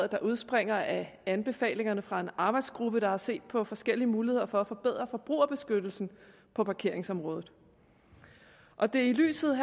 der udspringer af anbefalinger fra en arbejdsgruppe der har set på forskellige muligheder for at forbedre forbrugerbeskyttelsen på parkeringsområdet og det er i lyset